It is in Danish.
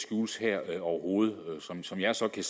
skjules her overhovedet som jeg ser det